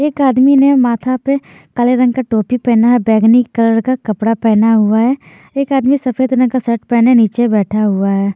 एक आदमी नें माथा पे काले रंग का टोपी पहना है बैंगनी कलर का कपड़ा पहना हुआ है एक आदमी सफ़ेद रंग का शर्ट पहने नीचे बैठा हुआ है।